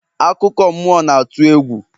akụkọ mmụọ na-atụ egwu